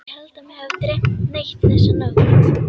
Ég held að mig hafi ekki dreymt neitt þessa nótt.